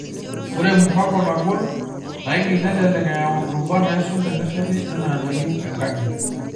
Ore mpango nagol, naigiil nelelek eyau irubat naaisul tenesheti enaa enayiew enkaji.